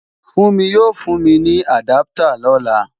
Fúnmi yóò fún mi ní àdáptà lọ́la